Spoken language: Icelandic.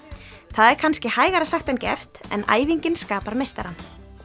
það er kannski hægara sagt en gert en æfingin skapar meistarann